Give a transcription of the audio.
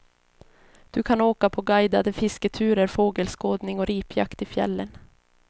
Du kan åka på guidade fisketurer, fågelskådning och ripjakt i fjällen.